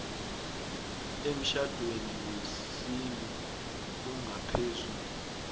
emtjhadweni wesintu ongaphezu